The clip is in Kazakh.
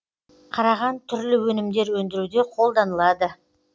қараған түрлі өнімдер өндіруде қолданылады